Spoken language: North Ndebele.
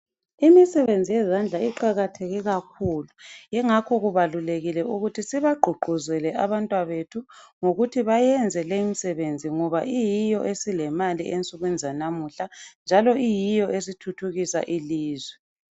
Imisebenzi yezandla iqakatheke kakhulu. Ingakho kubalulekile ukuthi sibagqugquzele abantwabethu .Ngokuthi bayenze limisebenzi ngoba iyiyo imisebenzi esilemali ensukwini zanamuhla njalo iyiyo esithuthukisa ilizwe .